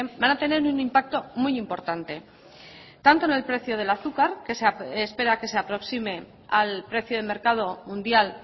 van a tener un impacto muy importante tanto en el precio del azúcar que se espera que se aproxime al precio de mercado mundial